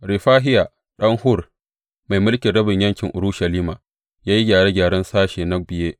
Refahiya ɗan Hur, mai mulkin rabin yankin Urushalima, ya yi gyare gyaren sashe na biye.